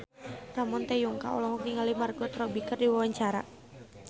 Ramon T. Yungka olohok ningali Margot Robbie keur diwawancara